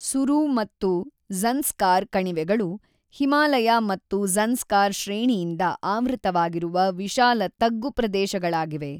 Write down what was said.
ಸುರೂ ಮತ್ತು ಜ಼ನ್‍ಸ್ಕಾರ್ ಕಣಿವೆಗಳು ಹಿಮಾಲಯ ಮತ್ತು ಜ಼ನ್‍ಸ್ಕಾರ್ ಶ್ರೇಣಿಯಿಂದ ಆವೃತವಾಗಿರುವ ವಿಶಾಲ ತಗ್ಗುಪ್ರದೇಶಗಳಾಗಿವೆ.